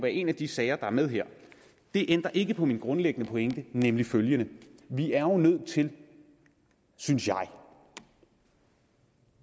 en af de sager der er med her det ændrer ikke på min grundlæggende pointe nemlig følgende vi er jo nødt til synes jeg